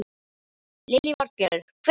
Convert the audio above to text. Lillý Valgerður: Hvenær?